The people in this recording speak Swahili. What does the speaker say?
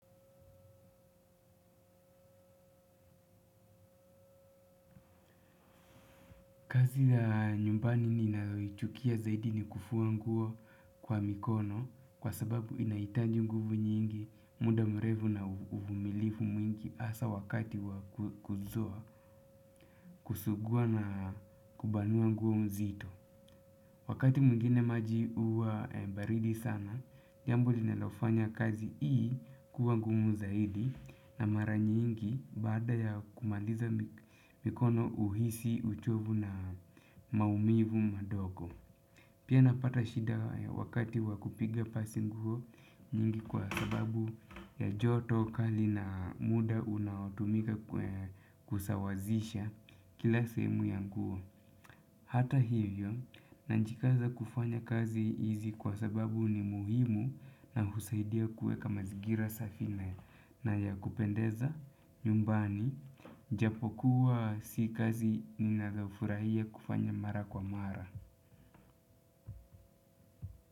Kazi ya nyumbani ninayoichukia zaidi ni kufua nguo kwa mikono kwa sababu inahitaji nguvu nyingi muda mrefu na uvumilivu mwingi hasa wakati wa kuzua kusugua na kubanua nguo mzito. Wakati mwingine maji huwa baridi sana, jambo linalofanya kazi hii kuwa ngumu zaidi na mara nyingi baada ya kumaliza mikono huhisi uchovu na maumivu madogo. Pia napata shida wakati wa kupiga pasi nguo nyingi kwa sababu ya joto kali na muda unaotumika kusawazisha kila sehemu ya nguo. Hata hivyo, na jikaza kufanya kazi hizi kwa sababu ni muhimu na husaidia kue kama zigira safine na ya kupendeza, nyumbani, japo kuwa si kazi ni nadhafura hia kufanya mara kwa mara.